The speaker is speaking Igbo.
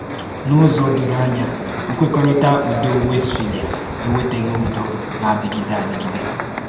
N’ụzọ doro anya, Nkwekọrịtà Ùdò Wéstphália ewetàghị ùdò na-adịgide adịgide.